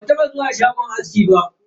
Ban taba zuwa shagon aski ba.